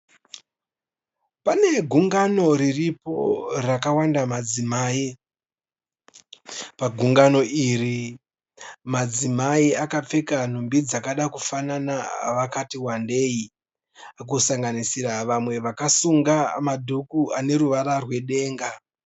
Pane gungano riripo rakawanda madzimai. Pagungano iri madzimai akapfeka nhumbi dzakada kufanana vakati wandei kusanganisira vamwe vakasunga madhuku aneruvara rwedenga.